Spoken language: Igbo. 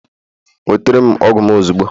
Nweta m ọgwụ m ozugbo!